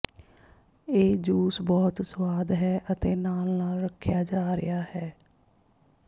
ਇਹ ਜੂਸ ਬਹੁਤ ਸੁਆਦ ਹੈ ਅਤੇ ਨਾਲ ਨਾਲ ਰੱਖਿਆ ਜਾ ਰਿਹਾ ਹੈ